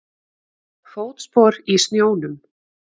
Fótspor í snjónum.